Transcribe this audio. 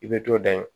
I bɛ to dan ye